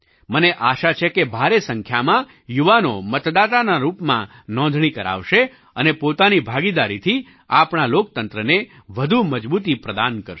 મને આશા છે કે ભારે સંખ્યામાં યુવાનો મતદાતાના રૂપમાં નોંધણી કરાવશે અને પોતાની ભાગીદારીથી આપણા લોકતંત્રને વધુ મજબૂતી પ્રદાન કરશે